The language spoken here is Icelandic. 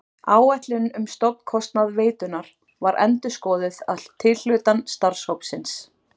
Áætlun um stofnkostnað veitunnar var endurskoðuð að tilhlutan starfshópsins.